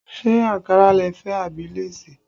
Ṣé ankara lẹ fẹ́ àbí léèsì?